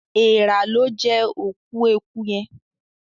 Èèrà lọ jé òkú ẹkú yén